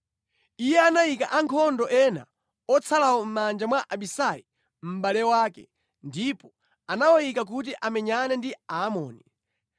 Iye anayika ankhondo ena otsalawo mʼmanja mwa Abisai mʼbale wake ndipo anawayika kuti amenyane ndi Aamoni.